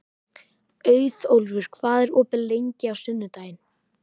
Auðólfur, hvað er opið lengi á sunnudaginn?